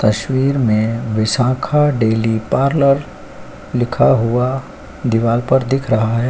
तस्वीर में Vishakha daily parlour लिखा हुआ दीवाल पर दिख रहा--